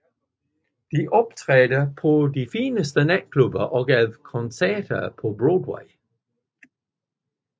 De optrådte på de fineste natklubber og gav koncerter på Broadway